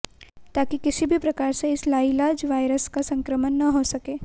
ताकि किसी भी प्रकार से इस लाइलाज वायरस का संक्रमण न हो सके